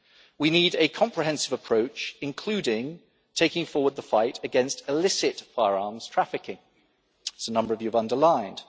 that. We need a comprehensive approach, including taking forward the fight against illicit firearms trafficking, as a number of you have underlined.